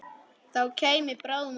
Það kæmi bráðum að okkur.